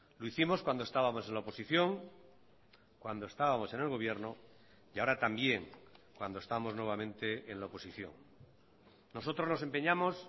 lo hicimos cuando estábamos en la oposición cuando estábamos en el gobierno y ahora también cuando estamos nuevamente en la oposición nosotros nos empeñamos